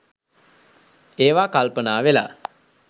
ඒවා කල්පනා වෙලා